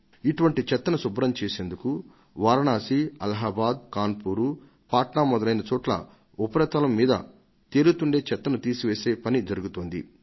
ఇటువంటి చెత్తను శుభ్రం చేసేందుకు వారణాసి అలహాబాద్ కాన్పూర్ పట్నా మొదలైన చోట్ల ఉపరితలం మీద తేలుతుండే చెత్తను తీసివేసే పని జరుగుతోంది